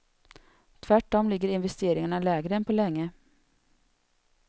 Tvärtom ligger investeringarna lägre än på länge.